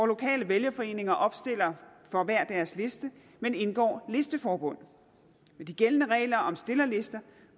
lokale vælgerforeninger opstiller for hver deres liste men indgår listeforbund med de gældende regler om stillerlister